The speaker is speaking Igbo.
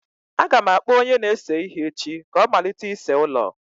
Aga m akpọ onye na-ese ihe echi ka ọ malite ịse ụlọ.